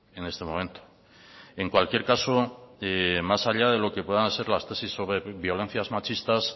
en este momento en cualquier caso más allá de lo que puedan ser las tesis sobre violencias machistas